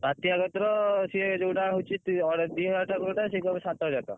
ବାତ୍ୟା କତିରେ ସିଏ ଯୋଉଟା ହଉଛି ଅଢେଇ ହଜାରେ ଦି ହଜାର ଟଙ୍କା କହୁଥିଲା ସେଇଟା କହୁଛି ସାତ ହଜାର ଟଙ୍କା।